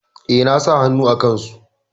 E, na sa hannu a kansu.